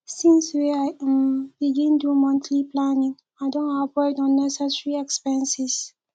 since wey i um begin do monthly planning i don avoid unnecessary expenses